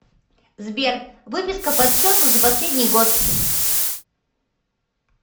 сбер выписка подсчету за последний год